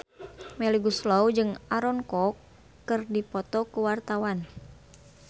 Melly Goeslaw jeung Aaron Kwok keur dipoto ku wartawan